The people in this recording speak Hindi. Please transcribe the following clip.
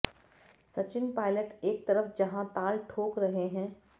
सचिन पायलट एक तरफ जहां ताल ठोंक रहे हैं